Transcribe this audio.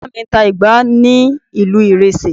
Bàbá mi ń ta igbá ní ìlú ìrésé